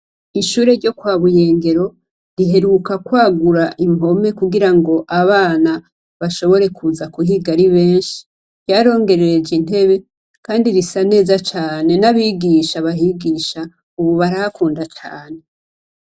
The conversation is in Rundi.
Ishure ryo kwa Buyengero ,riheruka kwagura impome kugira ngo abana bashobore kuza kuhiga ari benshi. Ryarongereje intebe, kandi risa neza cane, n'abigisha bahigisha ubu barahakunda cane.